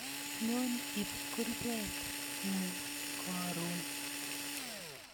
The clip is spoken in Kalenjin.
Nyon ib kurbet nguk koron